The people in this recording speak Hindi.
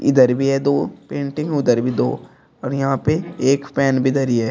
इधर भी है दो पेंटिंग उधर भी दो और यहां पे एक पेन भी धरी है।